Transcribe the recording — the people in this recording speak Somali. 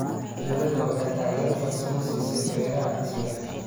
Dawladdu waxay taageero farsamo siisaa beeraha casriga ah.